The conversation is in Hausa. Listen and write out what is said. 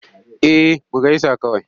Eh mu gaisa kawai.